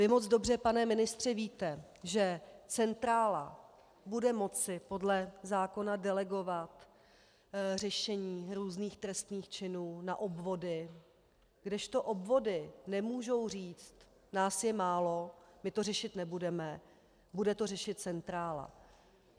Vy moc dobře, pane ministře, víte, že centrála bude moci podle zákona delegovat řešení různých trestných činů na obvody, kdežto obvody nemohou říct: nás je málo, my to řešit nebudeme, bude to řešit centrála.